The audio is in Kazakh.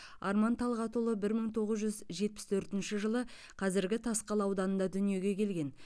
арман талғатұлы бір мың тоғыз жүз жетпіс төртінші жылы қазіргі тасқала ауданында дүниеге келген